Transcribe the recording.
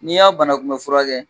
N'i y'a bana kunbɛ furakɛ.